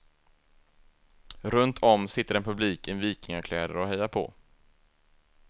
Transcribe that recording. Runt om sitter en publik i vikingakläder och hejar på.